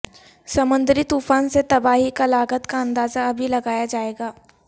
سمندری طوفان سے تباہی کی لاگت کا اندازہ ابھی لگایا جائے گا